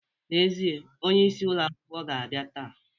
N'ezie, onyeisi ulọ akwụkwọ ga-abịa taa.